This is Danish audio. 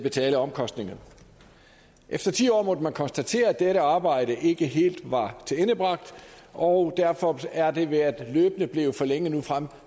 betale omkostningerne efter ti år måtte man konstatere at dette arbejde ikke helt var tilendebragt og derfor er det løbende blevet forlænget nu frem